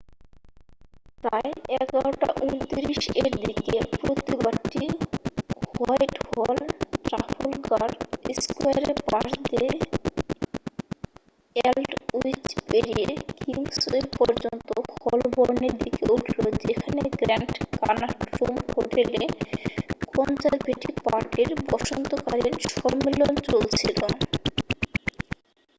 প্রায় 11:29 এর দিকে প্রতিবাদটি হোয়াইটহল ট্রাফলগার স্কয়ারের পাশ দিয়ে অ্যালডউইচ পেরিয়ে কিংসওয়ে পর্যন্ত হলবর্নের দিকে উঠল যেখানে গ্র্যান্ড কানাট রুম হোটেলে কনজারভেটিভ পার্টির বসন্তকালীন সম্মেলন চলছিল